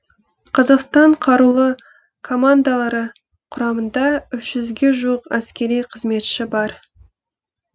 қазақстан қарулы командалары құрамында үш жүзге жуық әскери қызметші бар